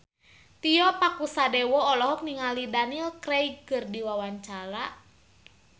Tio Pakusadewo olohok ningali Daniel Craig keur diwawancara